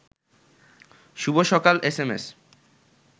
শুভ সকাল এসএমএস